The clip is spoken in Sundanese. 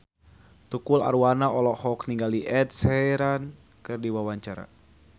Tukul Arwana olohok ningali Ed Sheeran keur diwawancara